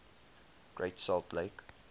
great salt lake